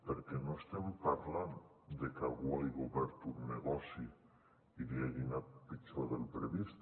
perquè no estem parlant de que algú hagi obert un negoci i li hagi anat pitjor del previst